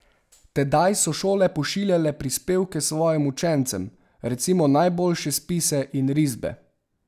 Tedaj so šole pošiljale prispevke svojih učencev, recimo najboljše spise in risbe.